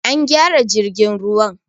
An gyara jirgin ruwan